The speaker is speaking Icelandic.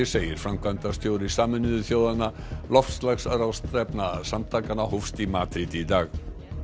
segir framkvæmdastjóri Sameinuðu þjóðanna loftslagsráðstefna samtakanna hófst í Madríd í dag